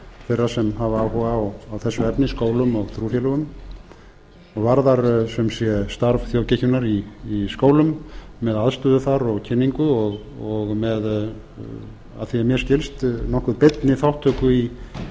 þeirra sem hafa áhuga á þessu efni skólum og trúfélögum varðar sem sé starf þjóðkirkjunnar í skólum með aðstöðu þar og kynningu og með að því er mér skilst nokkuð beinni þátttöku í